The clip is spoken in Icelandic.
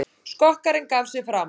Skokkarinn gaf sig fram